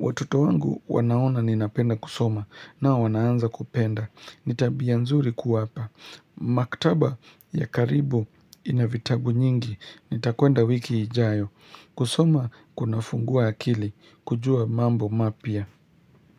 Watoto wangu wanaona ninapenda kusoma nao wanaanza kupenda. Ni tabia nzuri kuwapa. Maktaba ya karibu ina vitabu nyingi. Nitakwenda wiki ijayo. Kusoma kunafungua akili. Kujua mambo mapya.